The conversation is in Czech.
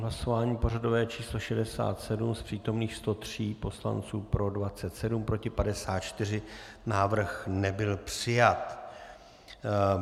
Hlasování pořadové číslo 67, z přítomných 103 poslanců pro 27, proti 54, návrh nebyl přijat.